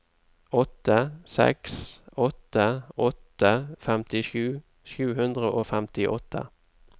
åtte seks åtte åtte femtisju sju hundre og femtiåtte